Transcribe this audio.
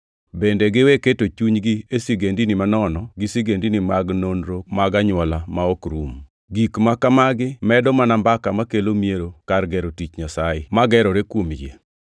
Bende giwe keto chunygi e sigendini manono gi sigendini mag nonro mag anywola ma ok rum. Gik ma kamagi medo mana mbaka makelo miero kar gero tich Nyasaye, ma gerore kuom yie.